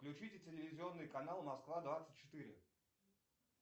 включите телевизионный канал москва двадцать четыре